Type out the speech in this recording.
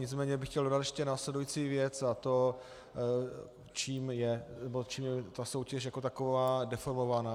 Nicméně bych chtěl dodat ještě následující věc, a to čím je ta soutěž jako taková deformovaná.